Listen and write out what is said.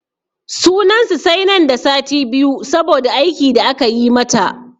Sunan su sai nan da sati biyu saboda aiki da aka yi mata.